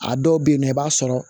A dɔw bɛ yen nɔ i b'a sɔrɔ